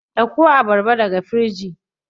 Dauko abarba daga firiji.